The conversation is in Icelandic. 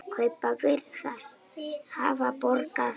Kaupin virðast hafa borgað sig.